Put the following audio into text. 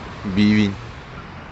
бивень